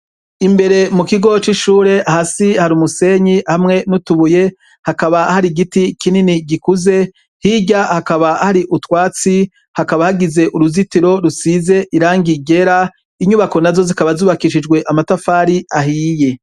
Imbere mu kigo c'ishure, hasi hari umusenyi hamwe n'utubuye, hakaba hari igiti kinini gikuze, hirya hakaba hari utwatsi hakaba hagize uruzitiro rusize irangi ryera, inyubako nazo zikaba zubakishijwe amatafari ahiye.